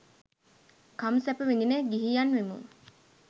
කම් සැප විඳින ගිහියන් වෙමු.